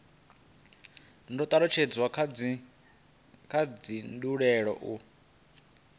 do talutshedzwa kha dzindaulo u